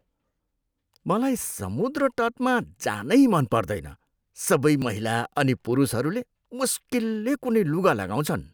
मलाई समुद्र तटमा जानै मन पर्दैन। सबै महिला अनि पुरुषहरूले मुस्किलले कुनै लुगा लगाउँछन्।